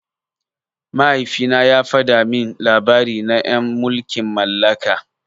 Mahaifina ya fada min labari na en mulkin mallaka.